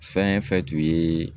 Fɛn fɛn tun yeee